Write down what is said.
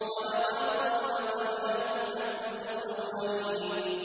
وَلَقَدْ ضَلَّ قَبْلَهُمْ أَكْثَرُ الْأَوَّلِينَ